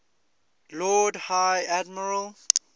lord high admiral